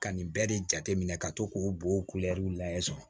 Ka nin bɛɛ de jateminɛ ka to k'o bol'u lajɛ so